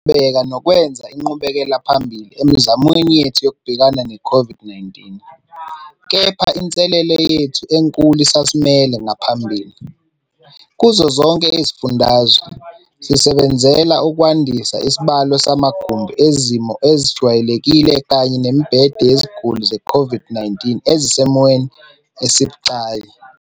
Siyaqhubeka nokwenza inqubekelaphambili emizamweni yethu yokubhekana ne-COVID-19, kepha inselele yethu enkulu isasimele ngaphambili. Kuzo zonke izifundazwe, sisebenzela ukwandisa isibalo samagumbi ezimo ezijwayelekile kanye nemibhede yeziguli ze-COVID-19 ezisesimweni esibucayi.